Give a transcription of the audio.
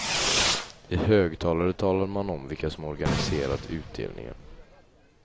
I högtalare talade man om vilka som organiserat utdelningen.